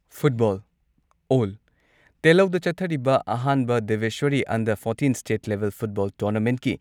football ꯑꯣꯜ ꯇꯦꯜꯂꯧꯗ ꯆꯠꯊꯔꯤꯕ ꯑꯍꯥꯟꯕ Debeswari under fourteen state level football ꯇꯣꯔꯅꯥꯃꯦꯟꯠꯀꯤ